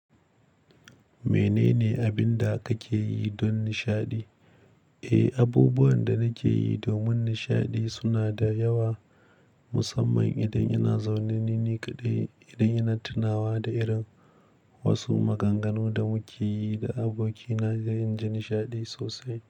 Menene abinda kake yi don nishaɗi? Eh, abubuwan da nake yi domin nishaɗi suna da yawa, musamman idan ina zaune ni ni kaɗai, idan ina tunawa da irin wasu maganganu da muke yi da abokina sai in ji nishaɗi sosai.